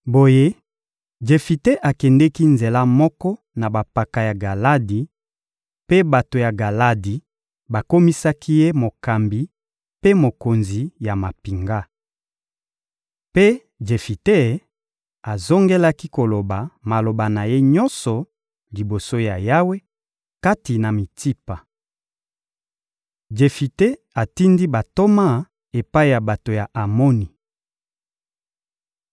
Boye Jefite akendeki nzela moko na bampaka ya Galadi, mpe bato ya Galadi bakomisaki ye mokambi mpe mokonzi ya mampinga. Mpe Jefite azongelaki koloba maloba na ye nyonso liboso ya Yawe, kati na Mitsipa. Jefite atindi bantoma epai ya bato ya Amoni